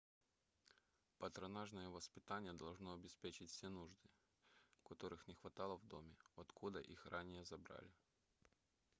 патронажное воспитание должно обеспечить все нужды которых не хватало в доме откуда их ранее забрали